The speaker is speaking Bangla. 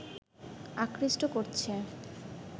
আকৃষ্ট করছে